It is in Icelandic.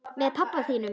Með pabba þínum?